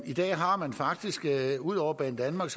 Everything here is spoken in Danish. i dag har man faktisk ud over banedanmark